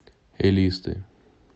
элисты